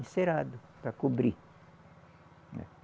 Encerado, para cobrir.